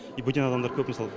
и бөтен адамдар көп мысалы